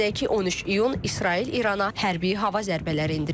Qeyd edək ki, 13 iyun İsrail İrana hərbi hava zərbələri endirib.